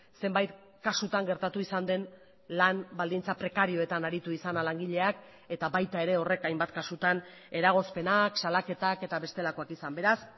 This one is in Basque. zenbait kasutan gertatu izan den lan baldintza prekarioetan aritu izana langileak eta baita ere horrek hainbat kasutan eragozpenak salaketak eta bestelakoak izan beraz